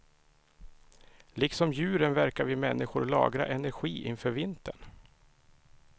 Liksom djuren verkar vi människor lagra energi inför vintern.